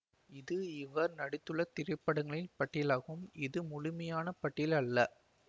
இது இவர் நடித்துள்ள திரைப்படங்களின் பட்டியலாகும் இது முழுமையான பட்டியல் அல்ல